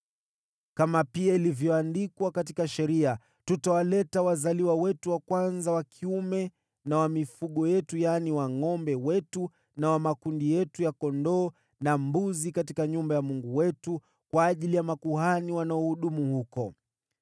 “Kama pia ilivyoandikwa katika Sheria, tutawaleta wazaliwa wetu wa kwanza wa kiume, na wa mifugo yetu, yaani wa ngʼombe wetu na wa makundi yetu ya kondoo na mbuzi, katika nyumba ya Mungu wetu, kwa ajili ya makuhani wanaohudumu huko.